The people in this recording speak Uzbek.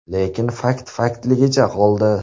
Lekin fakt faktligicha qoldi.